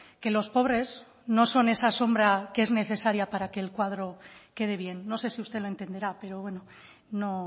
que los pobres no son esa sombra que es necesaria para que el cuadro quede bien no sé si usted lo entenderá pero bueno no